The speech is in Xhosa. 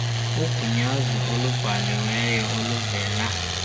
ugunyaziso olubhaliweyo oluvela